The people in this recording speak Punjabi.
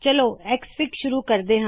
ਚਲੋ ਐਕਸਐਫਆਈਜੀ ਸ਼ੁਰੂ ਕਰਿਏ